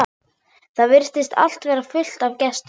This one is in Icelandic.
Það virtist allt vera fullt af gestum.